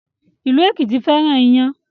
Ilu Ekiti féràn iyán